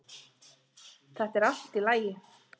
Þetta er allt í lagi.